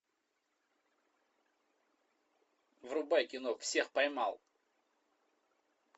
врубай кино всех поймал